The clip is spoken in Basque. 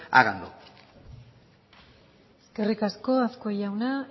háganlo eskerrik asko azkue jauna